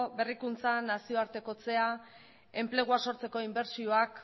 berrikuntzan nazioartekotzea enplegua sortzeko inbertsioak